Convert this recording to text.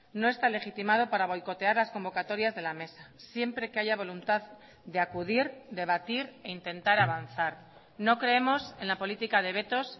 no está legitimado para boicotear las convocatorias de la mesa siempre que haya voluntad de acudir debatir e intentar avanzar no creemos en la política de vetos